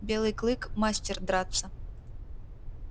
белый клык мастер драться